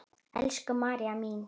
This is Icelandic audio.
Elsku María mín.